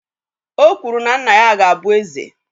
O kwuru na nna ya ga-abụ eze.